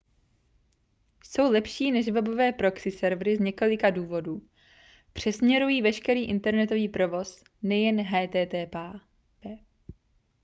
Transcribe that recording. jsou lepší než webové proxy servery z několika důvodů přesměrují veškerý internetový provoz nejen http